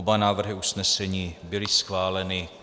Oba návrhy usnesení byly schváleny.